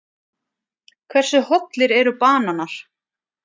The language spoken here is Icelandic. Hversu hollir eru bananar?